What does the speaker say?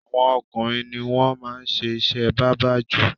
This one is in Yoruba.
Awọn ọkùnrin ni wọ́n máa ń ṣe iṣẹ́ bábà jù.